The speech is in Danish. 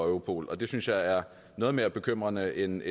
europol det synes jeg er noget mere bekymrende end